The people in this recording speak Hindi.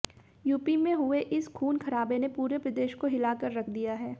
यूपी में हुए इस खून खराबे ने पूरे प्रदेश को हिलाकर रख दिया है